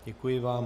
Děkuji vám.